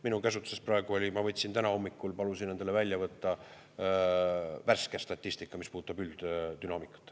Minu käsutuses praegu oli, ma täna hommikul palusin endale välja võtta värske statistika, mis puudutab ülddünaamikat.